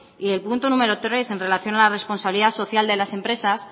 y el punto número tres en relación a la responsabilidad social de las empresas